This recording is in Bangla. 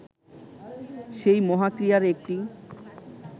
সেই মহাক্রীড়ার একটি